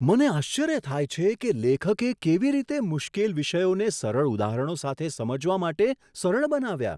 મને આશ્ચર્ય થાય છે કે લેખકે કેવી રીતે મુશ્કેલ વિષયોને સરળ ઉદાહરણો સાથે સમજવા માટે સરળ બનાવ્યા.